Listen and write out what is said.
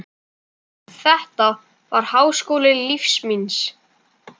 Þetta var háskóli lífs míns.